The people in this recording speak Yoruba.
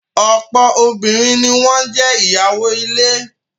Ọ̀pọ̀ obìnrin ni wọ́n jé ìyàwó ilé.